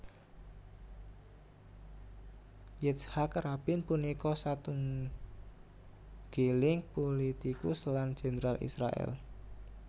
Yitzhak Rabin punika satunggiling pulitikus lan jendral Israèl